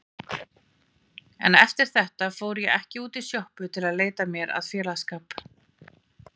En eftir þetta fór ég ekki út í sjoppu til að leita mér að félagsskap.